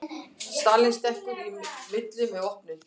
Stalín stekkur í milli með vopnin